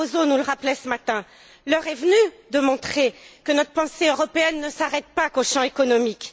Barroso nous le rappelait ce matin, l'heure est venue de montrer que notre pensée européenne ne s'arrête pas au domaine économique.